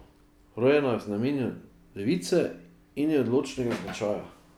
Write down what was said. Rojena je v znamenju device in je odločnega značaja.